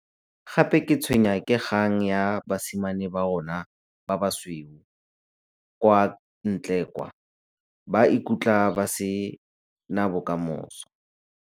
Gape ke tshwenya ke kgang ya basimane ba rona ba basweu kwa ntle kwa. Ba ikutla ba se na bokamoso.